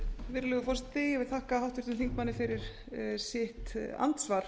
virðulegur forseti ég vil þakka háttvirtum þingmanni fyrir sitt andsvar